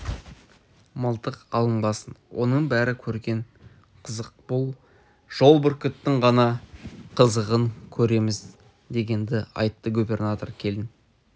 мылтық алынбасын оның бәрі көрген қызық бұл жолы бүркіттің ғана қызығын көреміз дегенді айтты губернатор келін